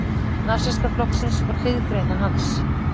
Nasistaflokksins og hliðargreina hans.